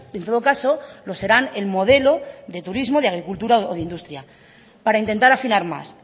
en todo caso lo serán el modelo de turismo de agricultura o de industria para intentar afinar más